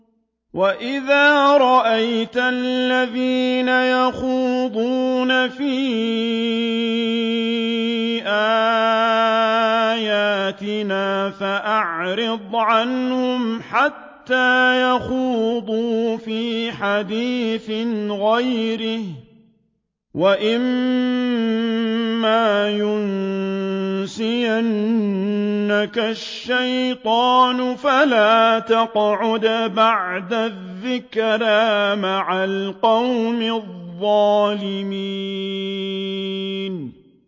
وَإِذَا رَأَيْتَ الَّذِينَ يَخُوضُونَ فِي آيَاتِنَا فَأَعْرِضْ عَنْهُمْ حَتَّىٰ يَخُوضُوا فِي حَدِيثٍ غَيْرِهِ ۚ وَإِمَّا يُنسِيَنَّكَ الشَّيْطَانُ فَلَا تَقْعُدْ بَعْدَ الذِّكْرَىٰ مَعَ الْقَوْمِ الظَّالِمِينَ